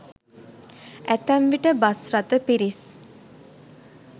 ඇතැම් විට බස්රථ පිරිස්